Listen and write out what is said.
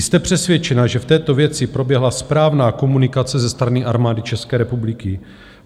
Jste přesvědčena, že v této věci proběhla správná komunikace ze strany Armády České republiky?